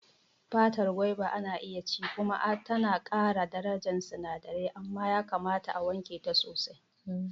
Fatar Goba ana iya ci kuma tana ƙara darajar sinadirai, amma yakamata a wanke ta sosai.